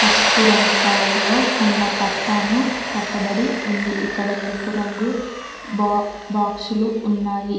పసుపు రంగు కలర్లో ఉన్న పట్టాను కట్టబడి ఉంది ఇక్కడ ఎరుపు రంగు బా బాక్సులు ఉన్నాయి.